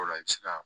O la i bɛ se ka